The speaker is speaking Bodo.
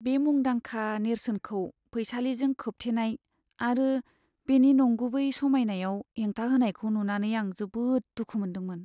बे मुंदांखा नेरसोनखौ फैसालिजों खोबथेनाय आरो बेनि नंगुबै समायनायाव हेंथा होनायखौ नुनानै आं जोबोद दुखु मोनदोंमोन।